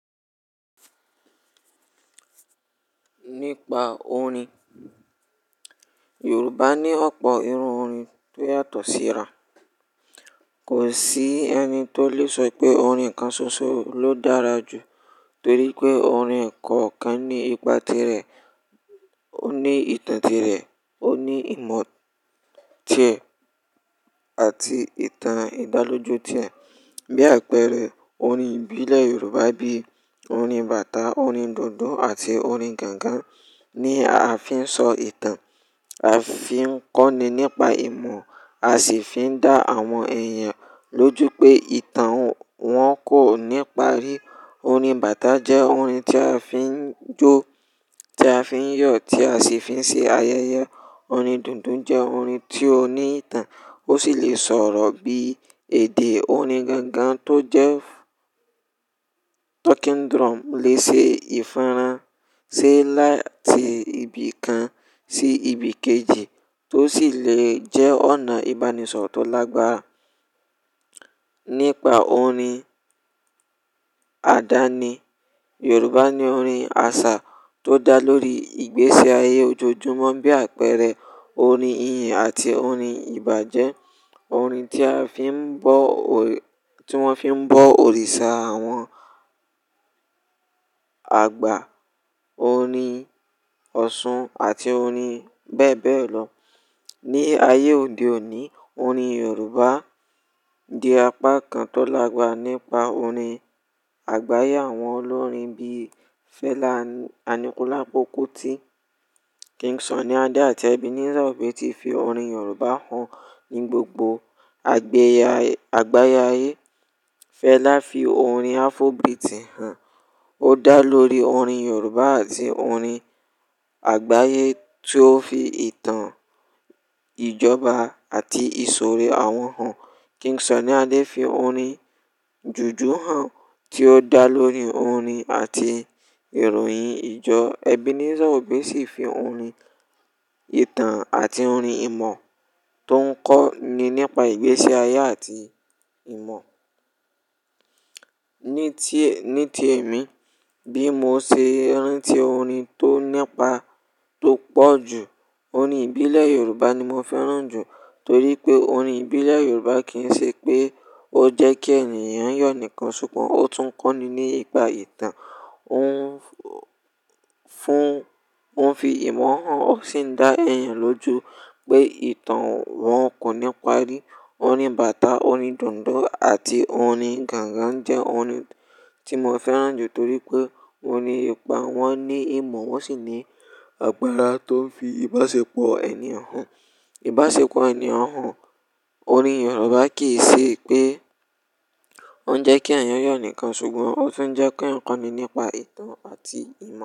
Nípa orin, Yorùbá ní ọ̀pọ̀ irú orin tó yàtọ̀ síra. Kò sí ẹni tó lè sọ wipé orin kan ṣoṣo ló dára jù torí pé orin ẹ̀kọ̀kan ní ipa tirẹ̀, ó ní ìtàn tirẹ̀, ó ní ìmọ̀ tiẹ̀ àti ìtàn ìdáloju tiẹ̀. Bí àpẹẹrẹ orin ìbílẹ̀ Yorùbá bí i orin bàtà, orin dùndún àti orin gangan ní a fi ń sọ ìtàn, a fi ń kọ́ni nípa ìmọ̀, a sì fi ń dá àwọn èèyàn lójú pé ìtàn wọn kò ní parí. Orin bàtà jẹ́ orin tí a fi ń jó, tí a fi ń yọ̀, tí a sì fi ń ṣe ayẹyẹ. Orin dùndún jẹ́ orin tí ó ní ìtàn, ó sì lè sọ̀rọ̀ bí èdè. Orin gangan tó jẹ́ talking drum lè ṣe ìforan, sì láti ibi kan sí ibi kejì tó sì lè jẹ́ ọ̀nà ìbánisọ̀rọ̀ tó lágbára. Nípa orin àdáni, Yorùbá ní orin àṣà tó dá lórí ìgbésí ayé ojoojúmọ́ bí àpẹẹrẹ orin ìyìn àti orin ìbàjẹ́. Orin tí a fi ń bọ́, tí wọ́n fi ń bọ́ òrìṣà àwọn àgbà. Orin ọ̀ṣun àti orin bẹ́ẹ̀ bẹ́ẹ̀ lọ. Ni ayé òde òní, orin Yorùbá di apá kan tó lágbára nípa orin àgbáyé àwọn olórin bí i Fẹlá Aníkúlápó Kútì, King Sunny Adé àti Ebenezer Obey tí fi orin Yorùbá hàn ní gbogbo àgbé ayé, àgbáyé. Fẹlá fi orin Afrobeat hàn. Ó dá lórí orin Yorùbá àti orin àgbáyé tí ó fi ìtàn, ìjọba àti ìṣòro àwọn hàn. King Sunny Adé fi orin jùjú hàn tí ó dá lórí orin àti ìròyìn ìjọ. Ebenezer Obey sì fi orin ìtàn àti orin ìmọ̀ tó ń kọ́ni nípa ìgbésí ayé àti ìmọ̀. Ní ti, ní ti èmi, bí mo ṣe rantí orin tó nípa, tó pọ̀ jù, orin ìbílẹ̀ Yorùbá ni mo fẹ́ràn jù torí pé orin ìbílẹ̀ Yorùbá kì ń ṣe pé ó jẹ́ kí ènìyàn yọ̀ nìkan ṣùgbọ́n ó tún ń kọ́ni nípa ìtàn. Ó ń fún, ó ń fi ìmọ̀ hàn, ó sì ń dá èèyàn lójú pé ìtàn wọn kò ní parí. Orin bàtà, orin dùndún àti orin gangan jẹ́ orin tí mo fẹ́ràn jù torí pé wọ́n ní ipa, wọ́n ní ìmọ̀, wọ́n sì ní agbára tó fi ìbáṣepọ̀ ènìyàn hàn, ìbáṣepọ̀ ènìyàn hàn. Orin Yorùbá kì í ṣe pé ó ń jẹ́ kí eeyàn yọ̀ nìkan ṣùgbọ́n ó tún ń jẹ́ kó ń kọ́ni nípa ìtàn àti ìmọ̀.